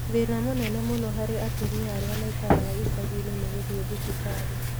Thĩna mũnene mũno harĩ atumia arĩa maikaraga icagi-inĩ nĩ gũthiĩ thibitarĩ.